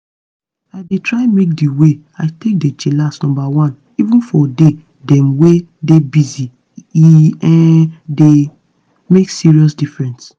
i dey try make di way i take dey chillax numba one even for day dem wey dey busy — e um dey make serious difference.